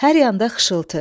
Hər yanda xışıltı.